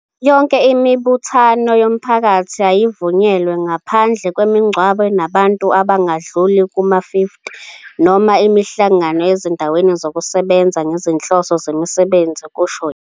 "Yonke imibuthano yomphakathi ayivunyelwe, ngaphandle kwemingcwabo enabantu abangadluli kuma-50 noma imihlangano ezindaweni zokusebenza ngezinhloso zemisebenzi," kusho yena.